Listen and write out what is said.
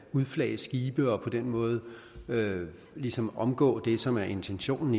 udflage skibe og på den måde ligesom omgå det som er intentionen